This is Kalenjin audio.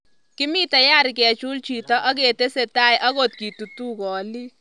"Kimii tayari kechul chito aketesetai aklt kitutuu koliik".